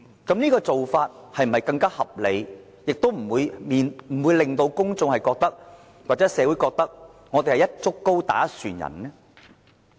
這種做法是否更合理，不會令到公眾或社會覺得我們是"一竹篙打一船人"呢？